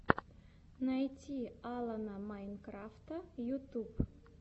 найти алана майнкрафта ютюб